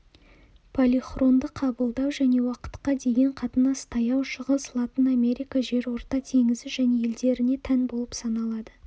полихронды қабылдау және уақытқа деген қатынас таяу шығыс латын америка жерорта теңізі және елдеріне тән болып саналады